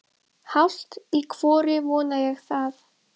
Hálft í hvoru vona ég það.